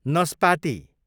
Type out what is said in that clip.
नस्पाती